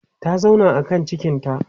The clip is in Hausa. ta zauna a kan cikinta